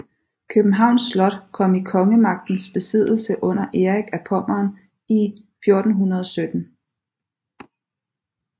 Københavns Slot kom i kongemagtens besiddelse under Erik af Pommern i 1417